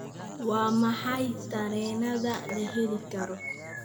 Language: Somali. waa maxay tareenada la heli karo